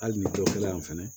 Hali ni dɔ kɛlen fɛnɛ